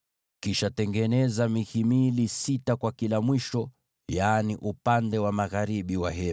Kisha tengeneza mihimili sita kwa mwisho ulio mbali, yaani upande wa magharibi wa maskani,